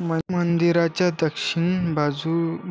मंदिराच्या दर्शनी